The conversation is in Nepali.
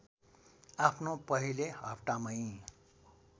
आफ्नो पहिले हप्तामै